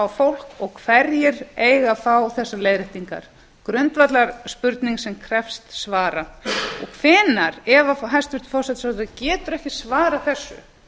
fólk og hverjir eiga að fá þessar leiðréttingar það er grundvallarspurning sem krefst svara og hvenær ef hæstvirtur forsætisráðherra getur ekki svarað þessu